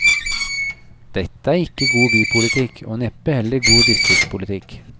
Dette er ikke god bypolitikk, og neppe heller god distriktspolitikk.